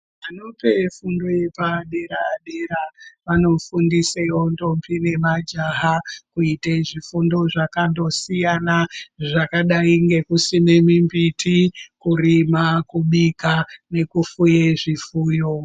Anope fundo yepadera-dera vanofundisewo ndombi nemajaha kuite zvifundo zvakandosiyana zvadayi ngekusime mimbiti, kurima, kubika nekufuye zvifuyo.